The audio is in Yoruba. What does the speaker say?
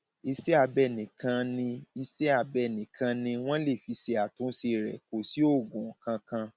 iṣẹabẹ nìkan ni iṣẹabẹ nìkan ni wọn lè fi ṣàtúnṣe rẹ kò sí oògùn kankan